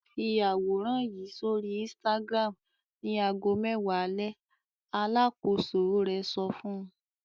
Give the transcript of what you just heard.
"Fi àwòrán yìí sórí Instagram ní ago mẹ́wàá alẹ́!" Alákòóso rẹ̀ sọ fún un.